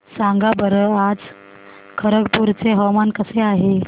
सांगा बरं आज खरगपूर चे हवामान कसे आहे